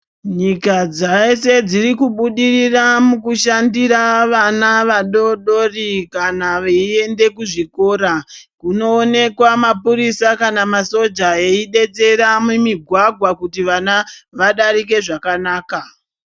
Nyika dzaeshe dziri kubudirira mukushandira vana vadodori kana veiende kuzvikora .Kunoonekwa maphurisa kana masoja eidetsera mumigwagwa kuti vana vadarike zvakanaka.